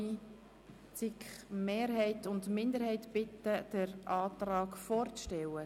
Ich bitte Mehrheit und Minderheit, Ihre Anträge vorzustellen.